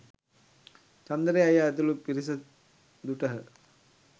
චන්දරේ අයියා ඇතුළු පිරිස දුටහ